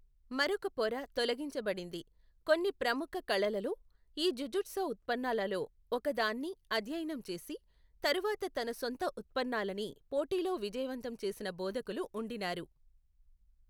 మరొక పొర తొలగించబడింది, కొన్ని ప్రముఖ కళలలో, ఈ జుజుత్సు ఉత్పన్నాలలో ఒకదాన్ని అధ్యయనం చేసి, తరువాత తన సొంత ఉత్పన్నాల్లని పోటీలో విజయవంతం చేసిన బోధకులు ఉండినారు.